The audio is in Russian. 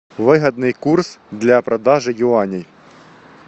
выгодный курс для продажи юаней